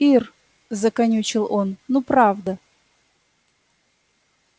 ир заканючил он ну правда